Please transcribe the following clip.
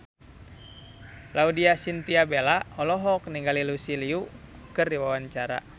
Laudya Chintya Bella olohok ningali Lucy Liu keur diwawancara